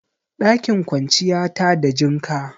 Ɗakin kwanciya tada jinka